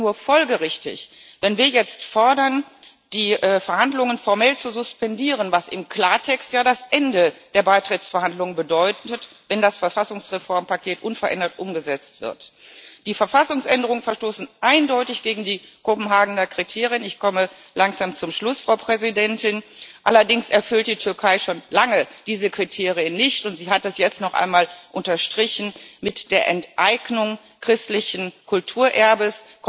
Und es ist nur folgerichtig, wenn wir jetzt fordern, die Verhandlungen formell zu suspendieren, was im Klartext ja das Ende der Beitrittsverhandlungen bedeuten wird, wenn das Verfassungsreformpaket unverändert umgesetzt wird. Die Verfassungsänderungen verstoßen eindeutig gegen die Kopenhagener Kriterien. Allerdings erfüllt die Türkei schon lange diese Kriterien nicht, und sie hat das jetzt noch einmal unterstrichen mit der Enteignung christlichen Kulturerbes.